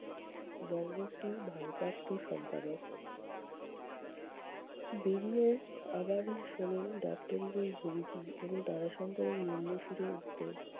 বঙ্গশ্রী ভারপ্রাপ্ত সম্পাদক। বেরিয়ে আবার শোনেন দপ্তরির ওই হুমকি এবং তারাশঙ্করের নিম্ন সুরের উত্তর